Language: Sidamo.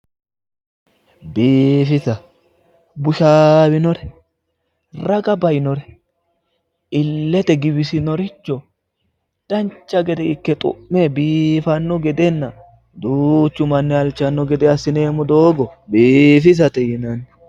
Biifisa, bushawinore ,raga bainore, ilete giwisinoricho dancha gede ikke xu'me biifano gedenna duuchu manni halchano gede assineemmo doogo biifissate yinnanni